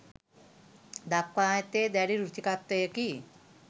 දක්වා ඇත්තේ දැඩි රුචිකත්වයකි.